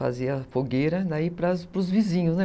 Fazia fogueira daí para os vizinhos, né?